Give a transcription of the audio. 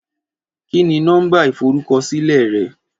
Kí ni nó̩mbà ìforúkosílè̩ re̩?